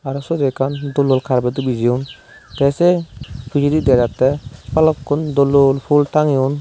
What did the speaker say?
aro suodo ekkan dol dol karpedo bijeyon te se pijedi dega jatte balokkun dol dol phul tangeyon.